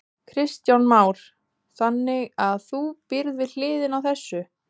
Kristján Már: Þannig að þú býrð við hliðina á þessu?